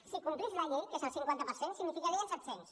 si complís la llei que és el cinquanta per cent significarien set cents